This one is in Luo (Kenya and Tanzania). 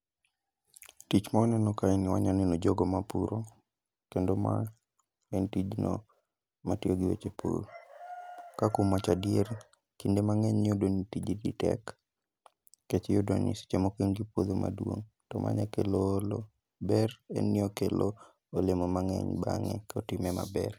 Tich ma waneno kae ni wanyaneno jogo ma puro, keno ma en tijno matiyo gi weche pur. Ka kuom wachadier, kinde mang'eny iyudo ni tijni tek. Kech iyudo ni seche moko in gi puodho maduong', to ma nya kelo olo. Ber en ni okelo olemo mang'eny bang'e kotime maber.